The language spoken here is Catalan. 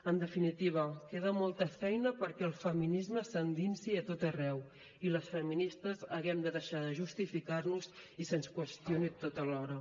en definitiva queda molta feina perquè el feminisme s’endinsi a tot arreu i les feministes haguem de deixar de justificar nos i se’ns qüestioni a tota hora